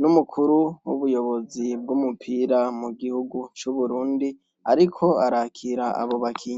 n'umukuru w'ubuyobozi bw'umupira mu gihugu c'Uburundi ariko arakira abo bakinyi.